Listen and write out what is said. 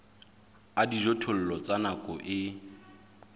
a dijothollo tsa nako e